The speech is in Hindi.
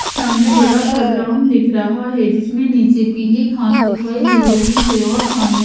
सामने बड़ा सा ग्राउंड दिख रहा है जिसमें नीचे पीली घास दिखाई दे रही है और सामने--